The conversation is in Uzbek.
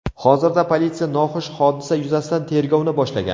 Hozirda politsiya noxush hodisa yuzasidan tergovni boshlagan.